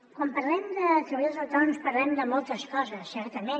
quan parlem de treballadors autònoms parlem de moltes coses certament